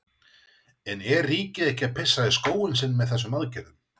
En er ríkið ekki að pissa í skóinn sinn með þessum aðgerðum?